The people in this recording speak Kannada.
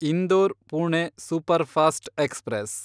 Indore Pune superfast express